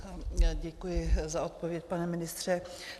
Děkuji za odpověď, pane ministře.